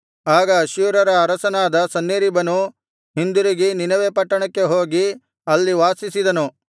ಆಗ ಅಶ್ಶೂರ್ಯರ ಅರಸನಾದ ಸನ್ಹೇರೀಬನು ಹಿಂದಿರುಗಿ ನಿನವೆ ಪಟ್ಟಣಕ್ಕೆ ಹೋಗಿ ಅಲ್ಲಿ ವಾಸಿಸಿದನು